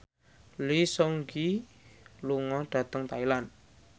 Lee Seung Gi lunga dhateng Thailand